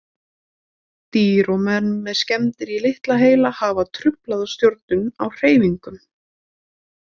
Dýr og menn með skemmdir í litla heila hafa truflaða stjórnun á hreyfingum.